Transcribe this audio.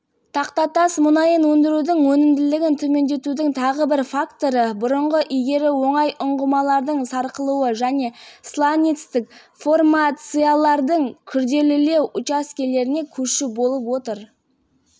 францияның компаниясының мәліметтері бойынша айтылғандай соңғы жылдары пермь бассейнінің сланцтерінен мұнай өндірудің өнімділігі өсуін тоқтатты және құлдырай бастауы да мүмкін делінген